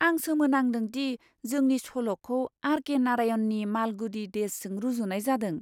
आं सोमोनांदों दि जोंनि सल'खौ आर.के. नारायणनि मालगुडी डेजजों रुजुनाय जादों!